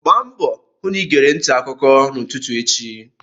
Gba mbọ hụ na ịgere ntị akụkọ n'ụtụtụ echi!